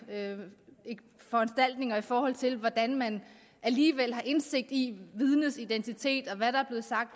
foranstaltninger i forhold til hvordan man alligevel har indsigt i vidnets identitet